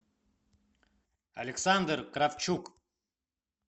александр кравчук